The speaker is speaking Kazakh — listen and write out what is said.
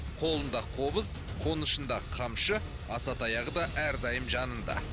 қолында қобыз қонышында қамшы асатаяғы да әрдайым жанында